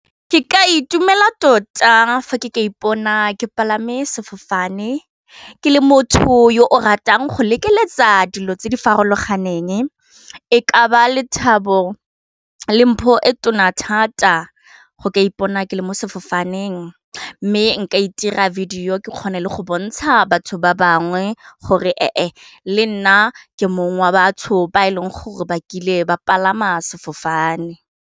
Ke ka itumela tota fa ke ka ipona ke palame sefofane ke le motho yo o ratang go lekeletsa dilo tse di farologaneng e ka ba lethabo le mpho e tona thata go ka ipona ke le mo sefofaneng mme nka itira video ke kgone le go bontsha batho ba bangwe gore e le nna ke mong wa batsho ba e leng gore ba kile ba palama sefofane.